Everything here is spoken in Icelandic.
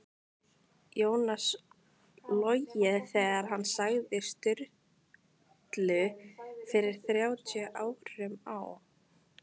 Jónas logið þegar hann sagði Sturlu fyrir þrjátíu árum á